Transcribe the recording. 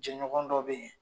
Jɛɲɔgɔn dɔw bɛ yen